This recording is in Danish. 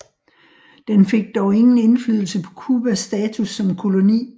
Den fik dog ingen indflydelse på Cubas status som koloni